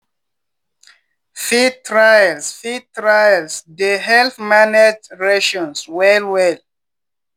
feed trials feed trials dey help manage rations well well.